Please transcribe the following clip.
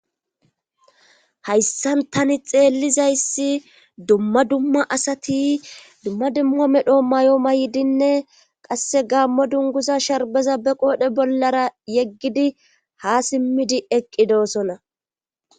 Hayssan tani xeellizayssi dumma dumma asati dumma dumma medho may'o maydinne qasse gaammo dunguza sharbeza be qoodhe bollara yeggidi ha simmidi eqqidosona.